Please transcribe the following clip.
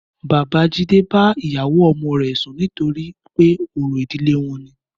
Bàbá Jídé bá ìyàwó ọmọ rẹ̀ sùn nítorí pé orò ìdílé wọn ni.